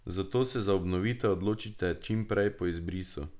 Zato se za obnovitev odločite čim prej po izbrisu.